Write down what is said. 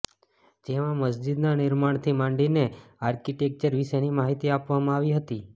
જેમાં મસ્જિદના નિર્માણથી માંડીને આર્કિટેક્ચર વિશેની માહિતી આપવામાં આવતી હતી